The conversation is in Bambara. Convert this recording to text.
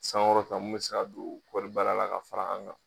San kɔrɔ ta mun bɛ se ka don kɔɔri baara la ka fara an kan.